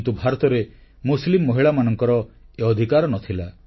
କିନ୍ତୁ ଭାରତରେ ମୁସଲିମ ମହିଳାମାନଙ୍କର ଏ ଅଧିକାର ନ ଥିଲା